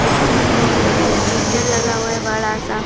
उसके बाजू में मीटर लगा हुआ है बड़ा सा--